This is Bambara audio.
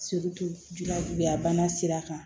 bana sira kan